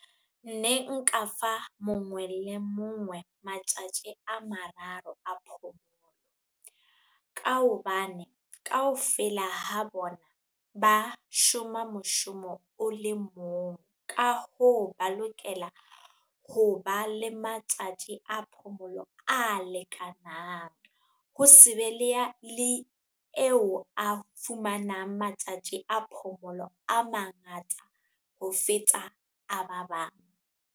Ne nka fa mongwe le mongwe matjatji a mararo a phomolo, ka hobane kaofela ha bona ba shoma moshomo o le mong, ka ho ba lokela ho ba le matjatji a phomolo a lekanang. Ho se be le eo a fumanang matjatji a phomolo a mangata ho feta a ba bang.